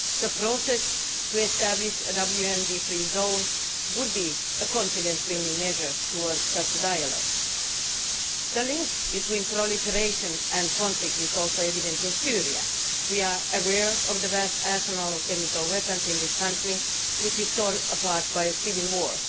The process of establishing a WMD free zone would be a confidence building measure towards such a dialogue. The link between proliferation and conflict is also evident in Syria. We are aware of the vast arsenal of chemical weapons in this country which is torn about by a civil war.